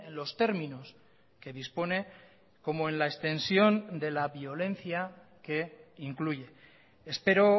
los términos que dispone como en la extensión de la violencia que incluye espero